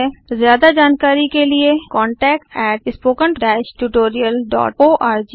ज्यादा जानकारी के लिए contactspoken tutorialorg को लिखें